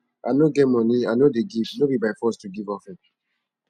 i no get money i no dey give no be by force to give offering